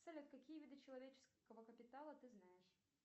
салют какие виды человеческого капитала ты знаешь